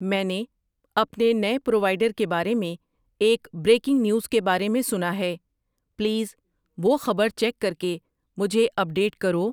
میں نے اپنے نئے پرووائڈر کے بارے میں ایک بریکنگ نیوز کے بارے میں سنا ہے، پلیز وہ خبر چیک کر کے مجھے اپ ڈیٹ کرو